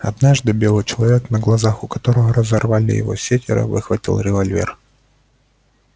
однажды белый человек на глазах у которого разорвали его сеттера выхватил револьвер